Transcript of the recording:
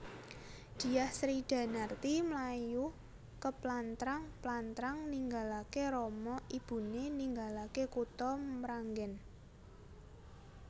Dyah Sridanarti mlayu keplantrang plantrang ninggalaké rama ibuné ninggalaké kutha Mranggèn